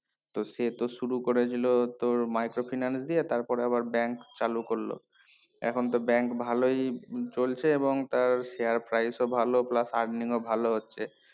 তো সে তো শুরু করেছিল তো micro finance দিয়ে তার পরে আবার bank চালু করলো এখন তো bank ভালোই চলছে এবং তার share price ও ভালো earning ও ভালো হচ্ছে